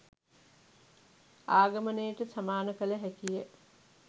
ආගමනයට සමාන කළ හැකිය